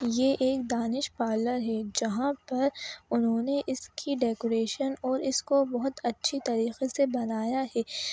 ये एक Danish parlour है जहां पर उन्होंने इसकी डेकोरेशन और इसको बहुत अच्छी तरीके से बनाया है।